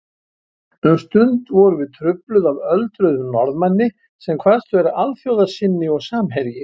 Um stund vorum við trufluð af öldruðum Norðmanni sem kvaðst vera alþjóðasinni og samherji